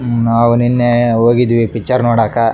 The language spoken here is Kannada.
ಉಮ್ ಅವು ನಿನ್ನೆ ಹೋಗಿದ್ವಿ ಪಿಕ್ಚರ್ ನೋಡಾಕ.